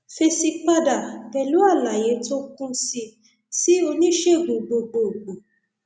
fèsì padà pẹlú àlàyé tó kún sí sí oníṣègùn gbogbogbò